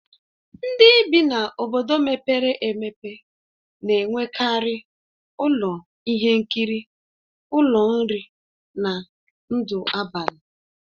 Ndị bi n'obodo mepere emepe na-enwekarị ụlọ ihe nkiri, ụlọ nri, na ndụ abalị.